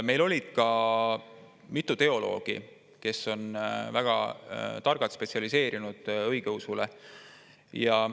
Meil olid kohal ka mitu teoloogi, kes on väga targad, spetsialiseerunud õigeusule.